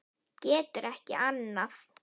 Getur ekki annað.